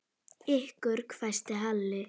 Ykkur hvæsti Halli.